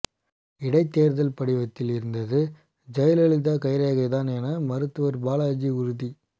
இடைத்தேர்தல் படிவத்தில் இருந்தது ஜெயலலிதா கைரேகைதான் என மருத்துவர் பாலாஜி உறுதி